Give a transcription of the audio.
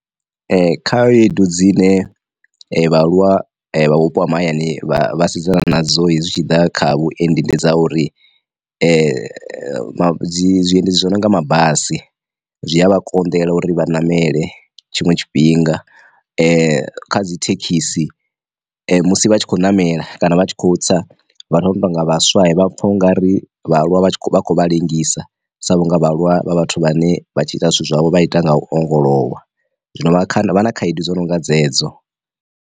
Khaedu dzine vhaaluwa vha vhupo ha mahayani vha vhasidzana na dzo hezwi zwi tshi ḓa kha vhuendi ndi dza uri, dzi zwiendedzi zwo no nga mabasi zwi a vha konḓela uri vha ṋamele tshiṅwe tshifhinga, kha dzi thekhisi musi vha tshi khou namela kana vha tshi kho tsa vhathu vhane vha nga vhaswa vha pfha ungari vhaaluwa vha vha khou vha ḽengisa sa vhunga vha aluwa vha vhathu vhane vha tshi ita zwithu zwavho vha ita nga u ongolowa, zwino vha na khaedu dzo nonga dzedzo.